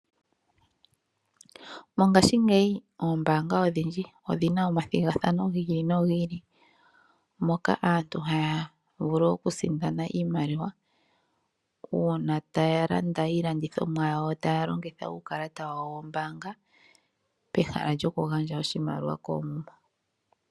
Mongaashingeyi oombaanga odhindji odhi na omathigathano gi ili nogi ili, moka aantu haya vulu okusindana iimaliwa, uuna taya landa iilandithomwa yawo taya longitha uukalata wawo wombaanga, peha lyokugandja oshimaliwa koomuma.